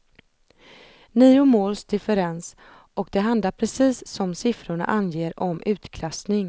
Nio måls differens och det handlar precis som siffrorna anger om utklassning.